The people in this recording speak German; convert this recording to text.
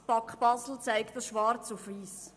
Die BAK Basel zeigt das schwarz auf weiss: